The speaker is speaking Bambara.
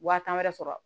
Wa tan wɛrɛ sɔrɔ